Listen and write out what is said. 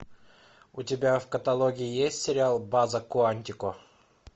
у тебя в каталоге есть сериал база куантико